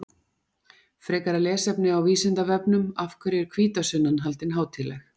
Frekara lesefni á Vísindavefnum Af hverju er hvítasunnan haldin hátíðleg?